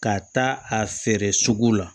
Ka taa a feere sugu la